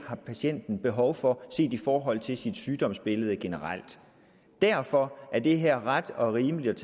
har patienten behov for set i forhold til sit sygdomsbillede generelt derfor er det her ret og rimeligt